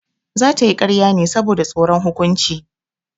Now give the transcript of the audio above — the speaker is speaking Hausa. Za ta yi ƙarya ne saboda tsoron hukunci.